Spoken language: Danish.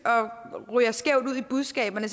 og ryger skævt ud med budskaberne